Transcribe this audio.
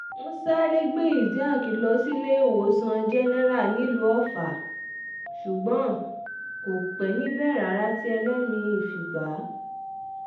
wọ́n sáré gbé isiaq lọ síléèwòsàn jẹ́nẹ́ra nílùú ọfà ṣùgbọ́n kò pẹ́ níbẹ̀ rárá tí ẹlẹ́mì-ín fi gbà á